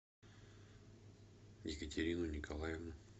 екатерину николаевну